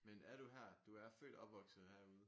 Men er du her du er født opvokset herude?